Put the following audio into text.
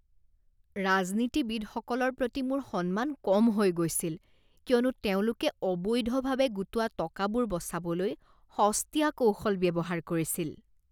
ৰাজনীতিবিদসকলৰ প্ৰতি মোৰ সন্মান কম হৈ গৈছিল কিয়নো তেওঁলোকে অবৈধভাৱে গোটোৱা টকাবোৰ বচাবলৈ সস্তীয়া কৌশল ব্যৱহাৰ কৰিছিল।